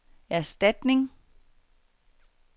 erstatning